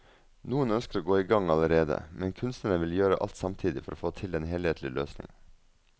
Noen ønsker å gå i gang allerede, men kunstneren vil gjøre alt samtidig for å få til en helhetlig løsning.